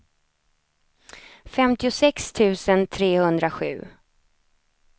femtiosex tusen trehundrasju